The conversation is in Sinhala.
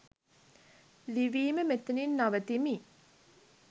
ලිවීම මෙතනින් නවතිමි.